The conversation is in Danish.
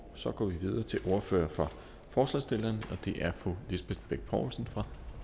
så går vi videre til ordføreren for forslagsstillerne og det er fru lisbeth bech poulsen fra